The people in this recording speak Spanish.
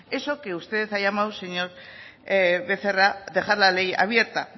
eso que usted ha llamado señor becerra dejar la ley abierta